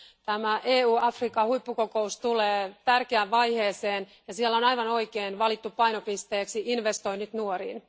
Tämä EU Afrikka huippukokous tulee tärkeään vaiheeseen, ja siellä on aivan oikein valittu painopisteeksi investoinnit nuoriin.